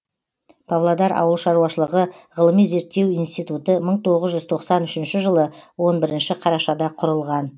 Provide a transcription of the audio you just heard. павлодар ауыл шаруашылығы ғылыми зерттеу институты мың тоғыз жүз тоқсан үшінші жылы он бірінші қарашада құрылған